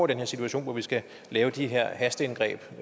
den her situation hvor vi skal lave de her hasteindgreb